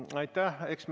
Aitäh!